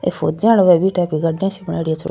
इ फौजा टाइप का गड्डा सा बनायेड़ो छे।